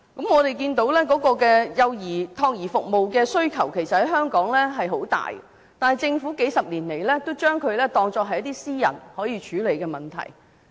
我們看到香港託兒服務的需求很大，但政府數十年來也將之當作是私人可以處理的問題。